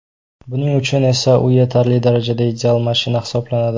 Buning uchun esa u yetarli darajada ideal mashina hisoblanadi.